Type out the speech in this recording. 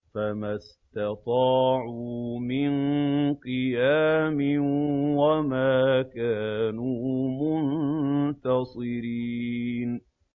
فَمَا اسْتَطَاعُوا مِن قِيَامٍ وَمَا كَانُوا مُنتَصِرِينَ